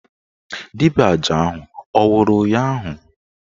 Dibịa aja ahụ anwụrụ ụnyaahụ?